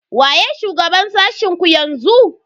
Waye shugaban sashen ku yanzu?